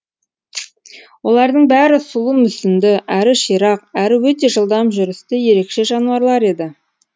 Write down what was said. олардың бәрі сұлу мүсінді әрі ширақ әрі өте жылдам жүрісті ерекше жануарлар еді